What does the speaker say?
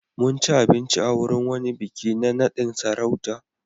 Mun ci abinci a wurin wani biki na naɗin sarauta.